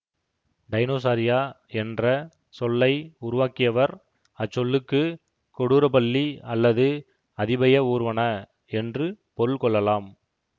Dinosauria என்ற சொல்லை உருவாக்கியவர் அச்சொல்லுக்கு கொடூர பல்லி அல்லது அதிபய ஊர்வன என்று பொருள் கொள்ளலாம்